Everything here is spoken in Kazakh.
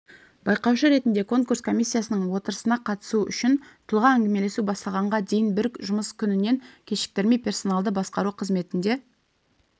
байқаушы ретінде конкурс комиссиясының отырысына қатысу үшін тұлға әңгімелесу басталғанға дейін бір жұмыс күнінен кешіктірмей персоналды басқару қызметінде